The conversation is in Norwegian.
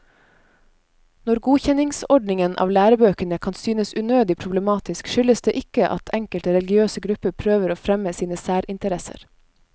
Når godkjenningsordningen av lærebøkene kan synes unødig problematisk, skyldes det ikke at enkelte religiøse grupper prøver å fremme sine særinteresser.